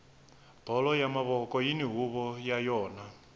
bolo ya mavoko yini huvo ya yona